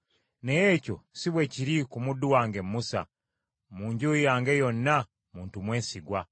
Naye ekyo si bwe kiri ku muddu wange Musa; mu nju yange yonna, muntu mwesigwa.